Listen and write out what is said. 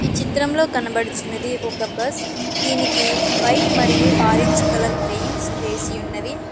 చిత్రంలో కనబడుచున్నది ఒక బస్ దీనికి వైట్ మరియు ఆరెంజ్ కలర్ పెయింట్స్ వేసి ఉన్నవి.